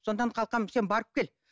сондықтан қалқам сен барып кел